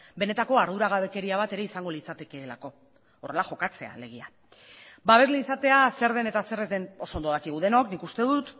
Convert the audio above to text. benetako arduragabekeria bat ere izango litzatekeelako horrela jokatzea alegia babesle izatea zer den eta zer ez den oso ondo dakigu denok nik uste dut